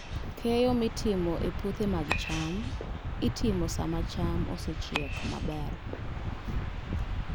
Keyo mitimo e puothe mag cham itimo sama cham osechiek maber.